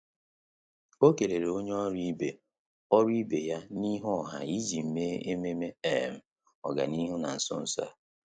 Ọ́ kèlèrè onye ọ́rụ́ ibe ọ́rụ́ ibe ya n’íhú ọha iji mèé ememe um ọ́gànihu nà nso nso a.